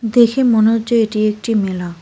দেখে মনে হচ্ছে এটি একটি মেলা।